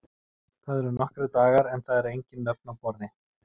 Það eru nokkrir dagar en það eru engin nöfn á borði.